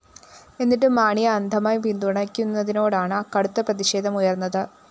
എന്നിട്ടും മാണിയെ അന്ധമായി പിന്തുണയ്ക്കുന്നതിനോടാണ് കടുത്ത പ്രതിഷേധമുയര്‍ന്നത്